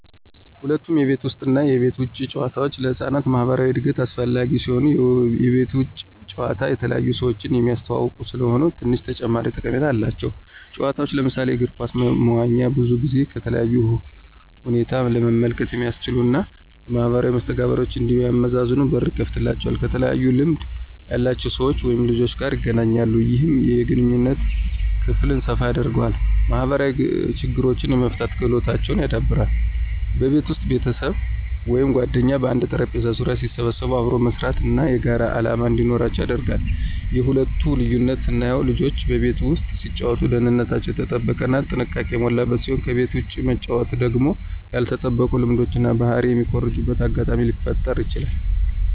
ሁለቱም የቤት ውስጥ እና የቤት ውጭ ጨዋታዎች ለህፃናት ማኅበራዊ እድገት አስፈላጊ ሲሆኑ፣ የቤት ውጭ ጨዋታ የተለያዩ ሰዎችን የሚያስተዋውቁ ስለሆኑ ትንሽ ተጨማሪ ጠቀሜታ አላቸው። ጨዋታዎች ለምሳሌ እግር ኳስ፣ መዋኛ ብዙውን ጊዜ ከተለያዩ ሁኔታ ለመመልከት የሚያስችሉ እና ማኅበራዊ መስተጋብሮችን እንዲያመዛዝኑ በር ይከፍትላቸዋል። ከተለያዩ ልምድ ያላቸው ሰዎች/ልጆች ጋር ይገናኛሉ። ይህም የግንኙነት ክልል ሰፋ ያደርገዋል። ማኅበራዊ ችግሮችን የመፍታት ክህሎታቸውን ያዳብራል። በቤት ውስጥ ቤተሰብ ወይም ጓደኞች በአንድ ጠረጴዛ ዙሪያ ሲሰበሰቡ አብሮ መስራት እና የጋራ ዓላማ እንዲኖራቸው ያደርጋል። የሁለቱ ልዩነት ስናየው ልጆች በቤት ውስጥ ሲጫወቱ ደህንነታቸው የተጠበቀ እና ጥንቃቄ የሞላበት ሲሆን ከቤት ውጭ መጫወቱ ደግሞ ያልተጠበቁ ልምዶችን እና ባህሪ የሚኮርጁበት አጋጣሚ ሊፈጠረ ይችላል።